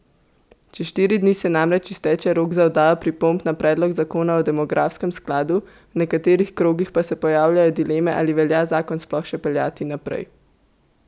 Čez štiri dni se namreč izteče rok za oddajo pripomb na predlog zakona o demografskem skladu, v nekaterih krogih pa se pojavljajo dileme ali velja zakon sploh še peljati naprej.